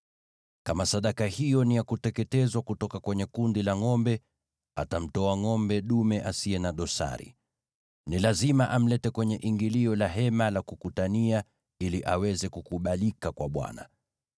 “ ‘Kama sadaka hiyo ni ya kuteketezwa kutoka kwenye kundi la ngʼombe, atamtoa ngʼombe dume asiye na dosari. Ni lazima amlete kwenye ingilio la Hema la Kukutania ili aweze kukubalika kwa Bwana .